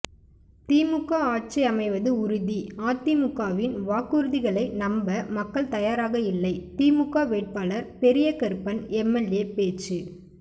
திமுக ஆட்சி அமைவது உறுதி அதிமுகவின் வாக்குறுதிகளை நம்ப மக்கள் தயாராக இல்லை திமுக வேட்பாளர் பெரியகருப்பன் எம்எல்ஏ பேச்சு